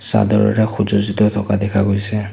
চাদৰেৰে সুজজ্জিত থকা দেখা গৈছে।